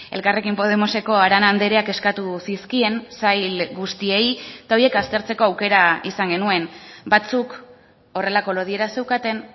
elkarrekin podemoseko arana andreak eskatu zizkien sail guztiei eta horiek aztertzeko aukera izan genuen batzuk horrelako lodiera zeukaten